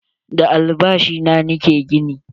Da albashi na ni ke gini.